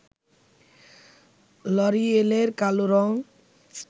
লরিয়েলের কালো রঙ